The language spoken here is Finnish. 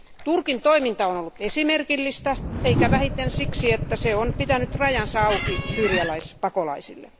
Turkin toiminta on ollut esimerkillistä eikä vähiten siksi, että se on pitänyt rajansa auki syyrialaispakolaisille.